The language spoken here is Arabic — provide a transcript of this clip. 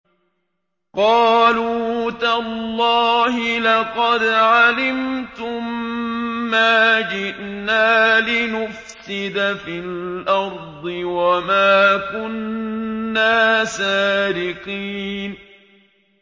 قَالُوا تَاللَّهِ لَقَدْ عَلِمْتُم مَّا جِئْنَا لِنُفْسِدَ فِي الْأَرْضِ وَمَا كُنَّا سَارِقِينَ